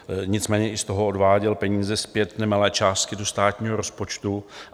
Nicméně i z toho odváděl peníze zpět, nemalé částky, do státního rozpočtu.